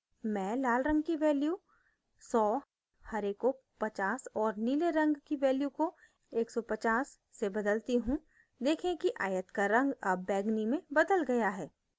मैं लाल रंग की value 100 हरे को 50 और नीले रंग की value को 150 से बदलती हूँ देखें कि आयत का रंग अब बैंगनी में बदल गया है